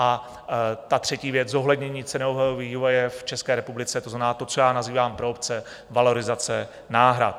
A ta třetí věc, zohlednění cenového vývoje v České republice, to znamená to, co já nazývám pro obce valorizace náhrad.